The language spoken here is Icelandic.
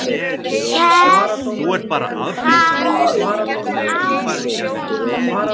hélt hann áfram.